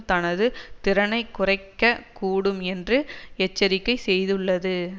தனதுத்திறனை குறைக்கக் கூடும் என்று எச்சரிக்கை செய்துள்ளது